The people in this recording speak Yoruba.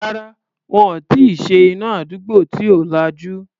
Rárá, wọn ò tí ì ṣe iná àdúgbò tí ò lajú.